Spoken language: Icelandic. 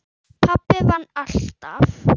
Pabbi vann alltaf.